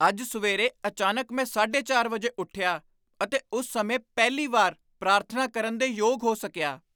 ਅੱਜ ਸਵੇਰੇ ਅਚਾਨਕ ਮੈਂ ਸਾਢੇ ਚਾਰ ਵਜੇ ਉੱਠਿਆ ਅਤੇ ਉਸ ਸਮੇਂ ਪਹਿਲੀ ਵਾਰ ਪ੍ਰਾਰਥਨਾ ਕਰਨ ਦੇ ਯੋਗ ਹੋ ਸਕੀਆ